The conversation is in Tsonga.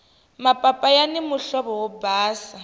mapapa yani muhlovo wo basa